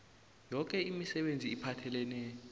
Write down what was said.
yoke imisebenzi ephathelene